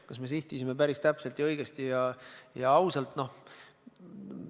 Kas me sihtisime päris täpselt, õigesti ja ausalt?